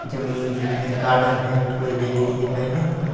जमीन दिख रहा है गार्डन है एक ठो इ देख लीजिये पहले तो --